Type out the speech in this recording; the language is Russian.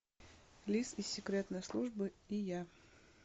лис из секретной службы и я